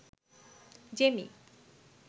Jamie